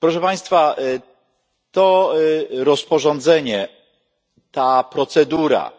Proszę Państwa, to rozporządzenie, ta procedura